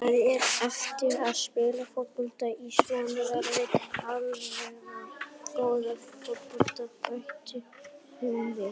Það er erfitt að spila fótbolta í svona veðri, allavega góðan fótbolta, bætti hún við.